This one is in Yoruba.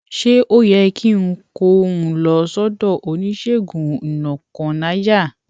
ṣé ó yẹ kí n kó un lọ sódò oníṣègùnúnọkànàyà